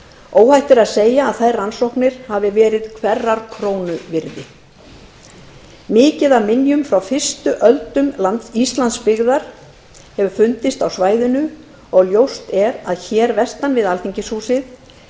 óhætt er að segja að þær rannsóknir hafi verið hverrar krónu virði margar minjar frá fyrstu öldum íslandsbyggðar hafa fundist á svæðinu og ljóst er að hér vestan við alþingishúsið